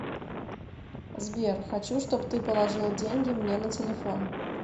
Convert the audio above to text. сбер хочу чтоб ты положила деньги мне на телефон